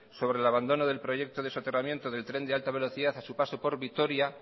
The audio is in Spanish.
sobre el abandono del proyecto de soterramiento del tren de alta velocidad a su paso por vitoria